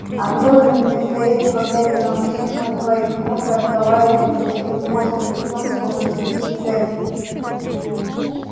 а мелани вместо этого глядя на мужчину у своих ног разговаривает с таким постным лицом словно сидит в церкви